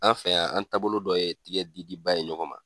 An fɛ yan, an taabolo dɔ ye tigɛ di diba ye ɲɔgɔn ma.